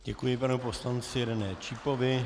Děkuji panu poslanci René Čípovi.